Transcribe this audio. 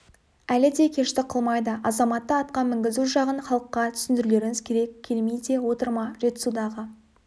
әлі де кештік қылмайды азаматты атқа мінгізу жағын халыққа түсіндірулеріңіз керек келмей де отыр ма жетісудағы